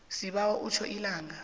sibawa utjho ilanga